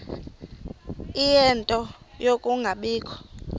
ie nto yokungabikho